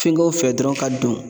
Fɛnkɛw fɛ dɔrɔn ka don.